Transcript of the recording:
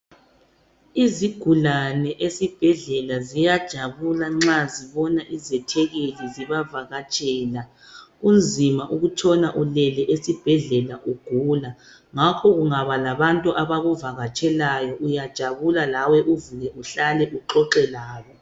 Izigulane ezibhedlela ziyajabula nxa zibona izithekeli zibavakatshela. Kunzima ukutshona ulele esibhedlela ugula njalo kungaba labantu abakuvakatshelayo uyajabula lawe uxoxe labo.